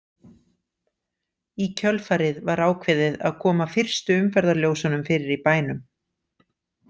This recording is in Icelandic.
Í kjölfarið var ákveðið að koma fyrstu umferðarljósunum fyrir í bænum.